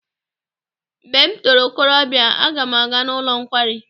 Mgbe m toro okorobịa aga m aga n'ụlọ nkwari.